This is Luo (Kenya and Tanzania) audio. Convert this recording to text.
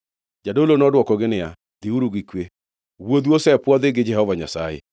Jadolo nodwokogi niya, “Dhiuru gi kwe. Wuodhu osepwodhi gi Jehova Nyasaye.”